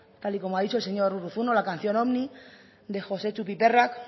tal y como ha dicho el señor urruzuno la canción ovni de josetxu piperrak